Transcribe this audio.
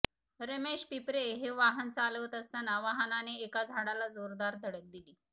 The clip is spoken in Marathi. रमेश पिपरे हे वाहन चालवत असताना वाहनाने एका झाडाला जोरदार धडक दिली